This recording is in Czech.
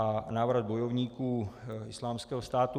A návrat bojovníků Islámského státu.